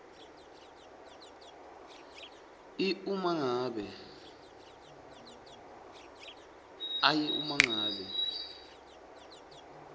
i uma ngabe